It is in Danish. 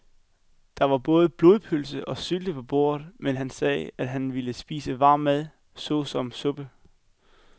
Der var både blodpølse og sylte på bordet, men han sagde, at han bare ville spise varm mad såsom suppe.